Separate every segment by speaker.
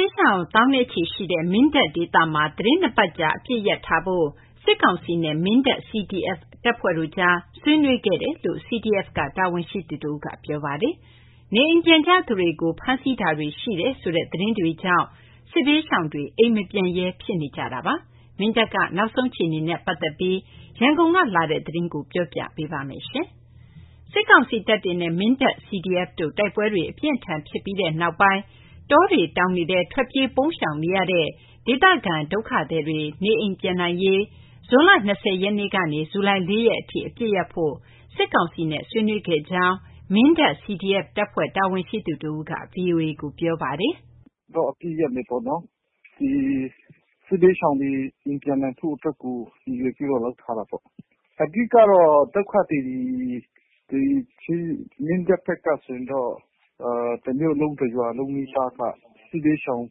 Speaker 1: ေးရှောင် သောင်းနဲ့ချီရှိနေတဲ့ မင်းတပ်ဒေသမှာ သီတင်း ၂ ပတ်ကြာ အပစ်ရပ်ဆိုင်းထားဖို့ စစ်ကောင်စီနဲ့ မင်းတပ် CDF တပ်ဖွဲ့တို့ကြား ဆွေးနွေးခဲ့ကြတယ်လို့ CDF က တာဝန်ရှိသူတဦးက ပြောပါတယ်။ နေအိမ်ပြန်ကြသူတွေကို ဖမ်းဆီးမှုတွေ ရှိတယ်ဆိုတဲ့ သတင်းတွေကြောင့် စစ်ဘေးရှောင်တွေကလည်း အိမ်မပြန်ရဲဘဲ ဖြစ်နေတာပါ။ မင်းတပ်က နောက်ဆုံးအခြေနေနဲ့ ပတ်သက်ပြီး ရန်ကုန်ကလာတဲ့ သတင်းကို မသိင်္ဂီထိုက် တင်ပြပေးထားပါတယ်။ စစ်ကောင်စီတပ်တွေနဲ့ မင်းတပ် CDF တို့ တိုက်ပွဲတွေ အပြင်းအထန် ဖြစ်ပွားပြီးနောက်ပိုင်း တောတောင်တွေထဲ ထွက်ပြေးပုန်းရှောင်နေရတဲ့ ဒေသခံ ဒုက္ခသည်တွေ နေအိမ်ပြန်နိုင်ရေးအတွက် ဇွန် ၂၀ ရက်ကနေ ဇူလိုင် ၄ ရက်အထိ အပစ်ရပ်ဖို့ စစ်ကောင်စီနဲ့ ဆွေးနွေးခဲ့တယ်လို့ မင်းတပ် CDF တပ်ဖွဲ့ တာဝန်ရှိသူတဦးက ဗွီအိုအေကို ပြောပါတယ်
Speaker 2: ။ “အပစ်ရပ်မယ်ပေါ့နော်၊ စစ်ဘေးရှောင်တွေ နေရပ်ပြန်နိုင်ရေး ရည်ရွယ်ပြီးတော့ လုပ်ထားတာပေါ့။ အဓိက ဒုက္ခသည်တွေ မင်းတပ်ဘက်ကဆိုရင် တမြို့လုံး တရွာလုံးနီးပါးက စစ်ဘေးရှောင်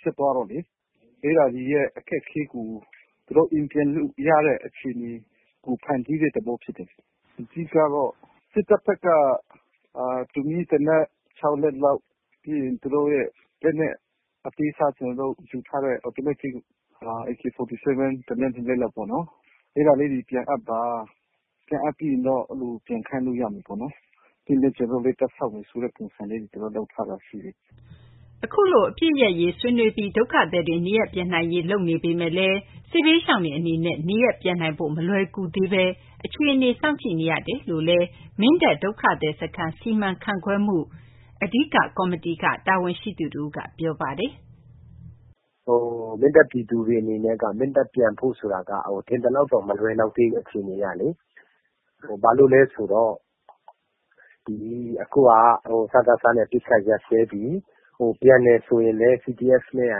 Speaker 2: ဖြစ်သွားတော့လေ အဲ့ဒါတွေ အခက်အခဲကို သူတို့ အိမ်ပြန်လို့ရတဲ့ အခြေအနေကို ဖန်တီးတဲ့သဘောဖြစ်တယ်။ စစ်တပ်ဘက်က တူမီးသေနတ် ၆ လက်လောက်၊ ပြီးရင် သူတို့ရဲ့ လက်နက်အသေးစား ကျနော်တို့ယူထားတဲ့ AK47 တလက်နှစ်လက်လောက်ပေါ့ ပြန်အပ်ပါ၊ အဲ့ဒါတွေအပ်ပြီးရင် ပြန်လို့ရမယ်၊ ပြီးရင် ကျနော်တို့လည်း တပ်ဖျောက်မယ့်ပုံစံမှာ ရှိတယ်။”
Speaker 1: အခုလို အပစ်ရပ်ထားရေး ဆွေးနွေးပြီး ဒုက္ခသည်တွေ နေရပ်ပြန်နိုင်ရေး လုပ်ဆောင်နေပေမယ့် စစ်ဘေးရှောင်တွေ အနေနဲ့ နေရပ်ပြန်နိုင်ဖို့ မလွယ်ကူသေးဘဲ အခြေအနေကို စောင့်ကြည့်နေရတယ်လို့ မင်းတပ် ဒုက္ခသည်စခန်း စီမံခန့်ခွဲမှု မိန်းကော်မတီက တာဝန်ရှိသူတဦးက ပြောပါတယ်
Speaker 3: ။ “မင်းတပ်ပြည်သူတွေအနေနဲ့ မင်းတပ်ပြန်ဖို့ဆိုတာက ထင်သလောက်တော့ မလွယ်လောက်သေးဘူး အခြေအနေကလေ။ ဘာလို့လဲဆိုတော့ စကစနဲ့ အပစ်အခတ်ရပ်စဲပြီး ပြန်တယ်ဆိုရင်လည်း CDF နဲ့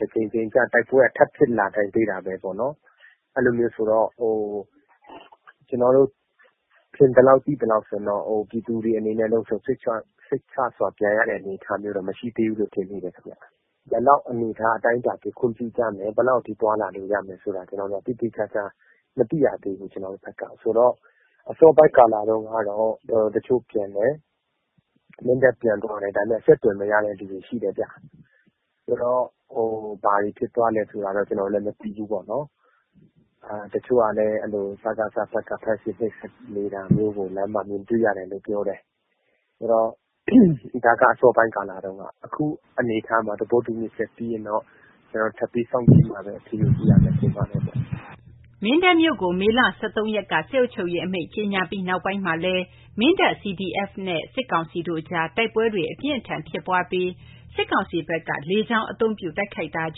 Speaker 3: က တကြိမ်ကြိမ် တိုက်ပွဲက ထပ်ဖြစ်လာနိုင်သေးတာပေါ့နော်။ အဲ့လိုဆိုတော့ ကျနော်တို့ထင်သလောက် ပြည်သူတွေအနေနဲ့ လုံခြုံစိတ်ချစွာ ပြန်ရမယ့် အနေအထားမျိုး မရှိသေးဘူးလို့ ထင်မိတယ်။ ဘယ်လောက်အတိုင်းအတာထိ ခွင့်ပြုမယ်၊ ဘယ်လောက်အတိုင်းအတာထိ သွားလာလို့ရမယ်ဆိုတာ ကျနော်တို့က သေသေချာချာ မသိရသေးဘူး။ ကျနော်တို့ဘက်ကဆိုတော့ အစောပိုင်း ကာလတုန်းက တချို့ပြန်တယ်။ မင်းတပ်ပြန်သွားတယ်။ ဒါပေမယ့် အဆက်အသွယ် မရတဲ့သူတွေ ရှိတယ်ခင်ဗျ။ ဘာတွေဖြစ်သွားလဲဆိုတာ ကျနော်တို့တော့ မသိဘူး။ တချို့ကလည်း စကစဘက်က ဖမ်းဆီးနှိပ်စက်တာ မြင်တွေ့ရတယ်လို့ တချို့ကပြောပါတယ်။ အခုကာလမှာ တချို့သဘောတူညီချက်ပြီးရင်တော့ ထပ်ပြီး စောင့်ကြည့်ပြီးမှ အခြေအနေသိရမယ့်သဘော ဖြစ်နေတယ်။
Speaker 1: ” မင်းတပ်မြို့ကို မေ ၁၃ ရက်က စစ်အုပ်ချုပ်ရေးအမိန့် ကြေညာပြီးနောက်ပိုင်းမှာလည်း မင်းတပ် CDF နဲ့ စစ်ကောင်စီတို့ကြား တိုက်ပွဲတွေ အပြင်းအထန် ဖြစ်ပွားပြီး စစ်ကောင်စီဘက်က လေကြောင်းအသုံးပြု တိုက်ခိုက်လာတာ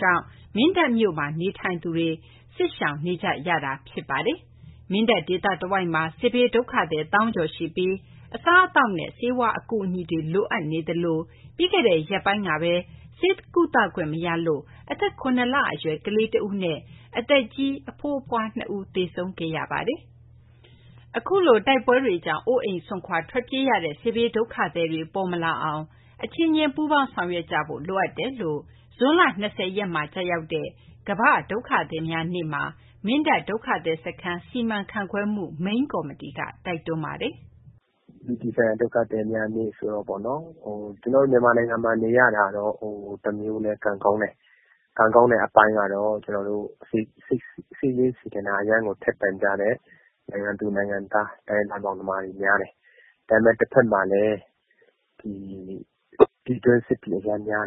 Speaker 1: ကြောင့် မင်းတပ်မြို့ နေထိုင်သူတွေ စစ်ဘေးရှောင်နေကြတာ ဖြစ်ပါတယ်။ မင်းတပ်ဒေသတဝိုက်မှာ စစ်ဘေးဒုက္ခသည် သောင်းကျော်ရှိပြီး အစားအသောက်နဲ့ ဆေးဝါးအကူအညီတွေ လိုအပ်နေသလို ပြီးခဲ့တဲ့ရက်ပိုင်းကပဲ ဆေးကုသခွင့်မရလို့ အသက် ၇ လအရွယ် ကလေးတဦးနဲ့ သက်ကြီးဘိုးဘွား ၂ ဦး သေဆုံးခဲ့ရတာပါ။ အခုလို တိုက်ပွဲတွေကြောင့် အိုးအိမ်စွန့်ခွာ ထွက်ပြေးနေရတဲ့ စစ်ဘေးဒုက္ခသည်တွေ ပေါ်မလာအောင် အချင်းချင်း ပူးပေါင်းဆောင်ရွက်ကြဖို့ လိုအပ်တယ်လို့ ဇွန် ၂၀ ရက်မှာ ကျရောက်တဲ့ အပြည်ပြည်ဆိုင်ရာ ဒုက္ခသည်နေ့မှာ မင်းတပ် ဒုက္ခသည်စခန်း စီမံခန့်ခွဲမှု မိန်းကော်မတီက တိုက်တွန်းလိုက်ပါတယ်
Speaker 3: ။ “အပြည်ပြည်ဆိုင်ရာ ဒုက္ခသည်များနေ့ ဆိုတော့ပေါ့၊ ကျနော်တို့ မြန်မာနိုင်ငံမှာ နေရတာ တမျိုးလည်း ကံကောင်းတယ်။ ကံကောင်းတဲ့အပိုင်းကတော့ စိတ်ရင်းစေတနာ အရမ်းကို ထက်သန်ကြတယ်။ နိုင်ငံသူ နိုင်ငံသား တိုင်းရင်းသား မောင်နှမတွေ များတယ်။ တဖက်မှာလည်း ပြည်တွင်းစစ်တွေ အရမ်းများတယ်။ အရင်က ပြည်တွင်းစစ်ဖြစ်တယ်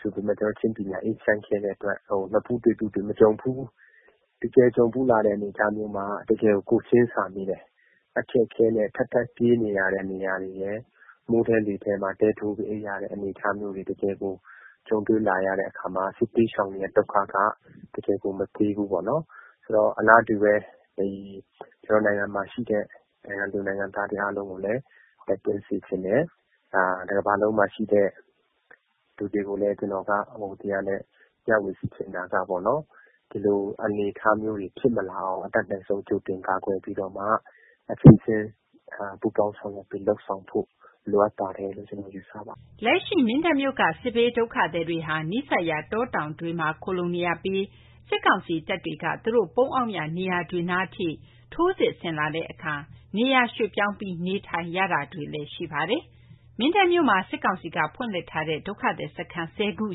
Speaker 3: ဆိုပေမယ့် ကျနော်တို့ ချင်းပြည်နယ်က အေးချမ်းခဲ့တဲ့အတွက် နဖူးတွေ့ ဒူးတွေ့ မကြုံဖူးဘူး။ တကယ်ကြုံဖူးလာတဲ့ အနေအထားမျိုးမှာ တကယ်ကိုယ်ချင်းစာမိတယ်။ အခက်အခဲနဲ့ ထပ်ထပ်ပြီးနေရတာရယ်၊ မိုးထဲလေထဲ တဲထိုးပြီး အိပ်ရတဲ့ အနေအထားတွေရယ် တကယ်ကို ကြုံတွေ့လာရတဲ့အခါမှာ စစ်ဘေးရှောင်တွေရဲ့ ဒုက္ခက တကယ်ကို မသေးဘူးပေါ့နော်။ အလားတူပဲ ကျနော်တို့နိုင်ငံမှာရှိတဲ့ နိုင်ငံသူ နိုင်ငံသားတွေ အားလုံးကိုလည်း တိုက်တွန်းချင်တယ်။ တကမ္ဘာလံုံးမှာရှိတဲ့ လူတွေကို မျှဝေချင်တာက ဒီလို အနေအထားမျိုးတွေ ဖြစ်မလာအောင် ကာကွယ်ပြီးတော့မှ အချင်းချင်းပူးပေါင်းပြီး လုပ်ဆောင်ဖို့ လိုအပ်တယ်လို့ ပြောချင်ပါတယ်။
Speaker 1: ” လက်ရှိ မင်းတပ်မြို့က စစ်ဘေးဒုက္ခသည်တွေဟာ နီးစပ်ရာ တောတောင်တွေမှာ ခိုလှုံနေရပြီး စစ်ကောင်စီတပ်တွေ သူတို့ပုန်းအောင်ရာ နေရာတွေနားအထိ ထိုးစစ်ဆင်လာတဲ့အခါ နေရာရွှေ့ပြောင်းပြီး နေထိုင်ရတာတွေလည်း ရှိနေပါတယ်။ မင်းတပ်မြို့မှာ စစ်ကောင်စီက ဖွင့်လှစ်ထားတဲ့ ဒုက္ခသည်စခန်းက ၁၀ ခု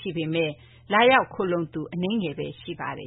Speaker 1: ရှိပေမယ့် လာရောက်ခိုလှုံသူက အနည်းငယ်ပဲ ရှိပါတယ်